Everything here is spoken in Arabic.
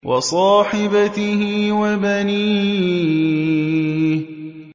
وَصَاحِبَتِهِ وَبَنِيهِ